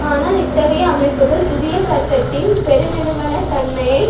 ஆனால் இத்தகைய அமைப்புக்கள் புதிய சட்டத்தின் பெருநிறுவனத் தன்மையை